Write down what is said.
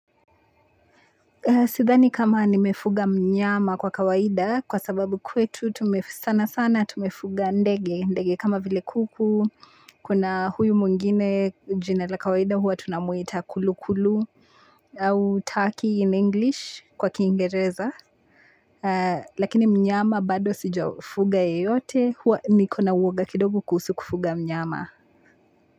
Sidhani kama nimefuga mnyama kwa kawaida, kwa sababu kwetu tume sana sana tumefuga ndege, ndege kama vile kuku, kuna huyu mwingine jina la kawaida huwa tunamuita kulukulu, au turkey in english kwa Kiingereza, lakini mnyama bado sijafuga yeyote, huwa niko na uwoga kidogo kuhusu kufuga mnyama.